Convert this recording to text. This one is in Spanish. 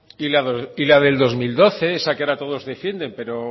y la del dos mil doce esa que ahora todos defienden pero